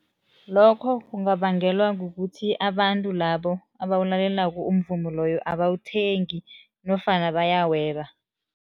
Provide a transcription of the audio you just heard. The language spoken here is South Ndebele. Lokho kungabangelwa kukuthi abantu labo abawulalelako umvumo loyo abawuthengi nofana bayaweba.